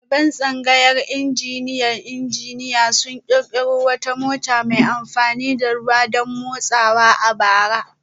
Daliban tsangayar injiniyan injiniya sun kirkiro wata mota mai amfani da ruwa don motsawa a bara